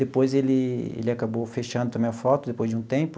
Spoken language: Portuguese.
Depois, ele ele acabou fechando também a foto, depois de um tempo.